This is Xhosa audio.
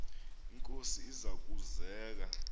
inkosi iza kuzek